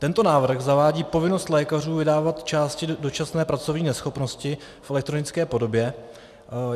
Tento návrh zavádí povinnost lékařů vydávat části dočasné pracovní neschopnosti v elektronické podobě.